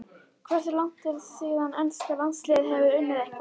Hversu langt er síðan enska landsliðið hefur unnið eitthvað?